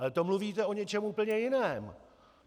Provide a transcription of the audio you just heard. Ale to mluvíte o něčem úplně jiném.